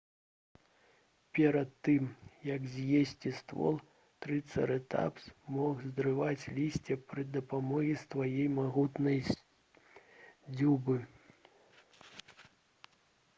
перад тым як з'есці ствол трыцэратапс мог зрываць лісце пры дапамозе сваёй магутнай дзюбы